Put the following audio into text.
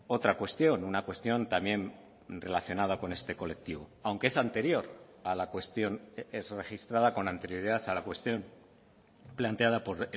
otra cuestión una cuestión también relacionada con este colectivo aunque es anterior a la cuestión es registrada con anterioridad a la cuestión planteada por